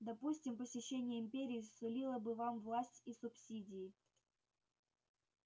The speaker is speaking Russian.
допустим посещение империи сулило бы вам власть и субсидии